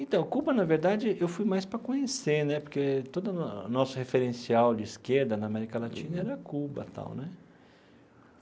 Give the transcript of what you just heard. Então, Cuba, na verdade, eu fui mais para conhecer né, porque todo o nosso referencial de esquerda na América Latina era Cuba tal né.